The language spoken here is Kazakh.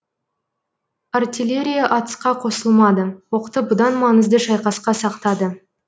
артеллерия атысқа қосылмады оқты бұдан маңызды шайқасқа сақтады